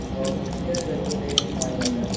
और यह जंगलों में पाया जाता है।